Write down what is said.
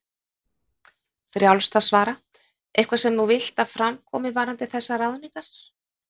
Frjálst að svara: Eitthvað sem þú vilt að fram komi varðandi þessar ráðningar?